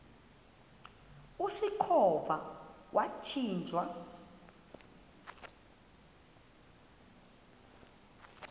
usikhova yathinjw a